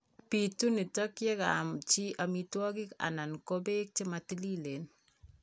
Bitu nitok yekaam chi amitwogik anan ko beek chematilileen